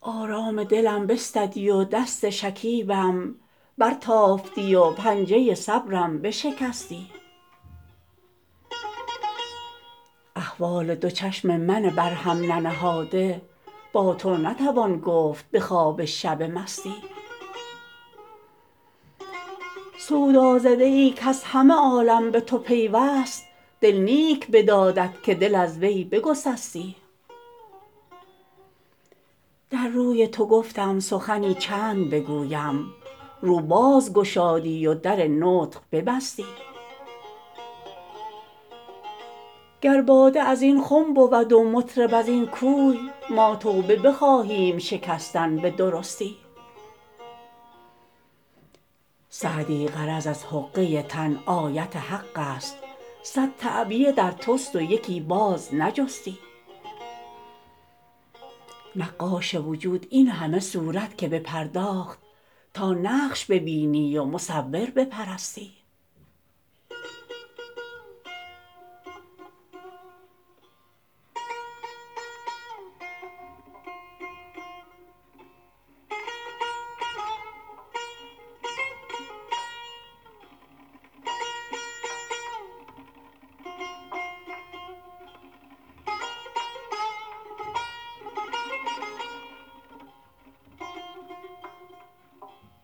آرام دلم بستدی و دست شکیبم برتافتی و پنجه صبرم بشکستی احوال دو چشم من بر هم ننهاده با تو نتوان گفت به خواب شب مستی سودازده ای کز همه عالم به تو پیوست دل نیک بدادت که دل از وی بگسستی در روی تو گفتم سخنی چند بگویم رو باز گشادی و در نطق ببستی گر باده از این خم بود و مطرب از این کوی ما توبه بخواهیم شکستن به درستی سعدی غرض از حقه تن آیت حق است صد تعبیه در توست و یکی باز نجستی نقاش وجود این همه صورت که بپرداخت تا نقش ببینی و مصور بپرستی